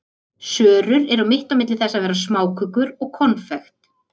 Sörur eru mitt á milli þess að vera smákökur og konfekt.